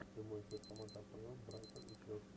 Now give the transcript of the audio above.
прямой эфир команд апл брайтон и челси